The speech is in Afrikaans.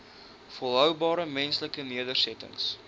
volhoubare menslike nedersettings